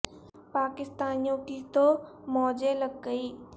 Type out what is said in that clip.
پا کستانیو ں کی تو مو جیں لگ گئیں